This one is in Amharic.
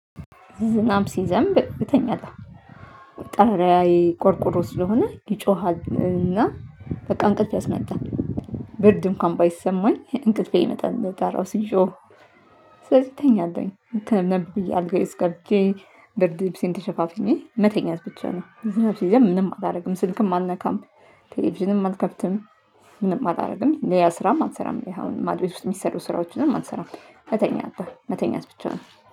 ዝናብ ሲዘንብ እተኛለሁ ጣሪያዬ ቆርቆሮ ስለሆነ ይጮሃል እና በቃ እንቅልፍ ያስመጣል። ብርድ እንኳን ባይሰማኝ እንቅልፌ ይመጣል በጣራው ሲዤው። ስለዚህ እተኛለሁኝ እንትን አልጋዬ ውስጥ ገብቼ ብርድ ልብሴን ተሸፋፍኜ መተኛት ብቻ ነው። ምንም አላደርግም ስልክም አልነካም። ቴሌቪዥንም አልከብትም። ምንም አላደርግም ለላ ስራም አልሰራም። አሁን ማድ ቤት ውስጥ የሚሰሩ ስራዎችንም አልሰራም እተኛለሁ መተኛት ብቻ ነው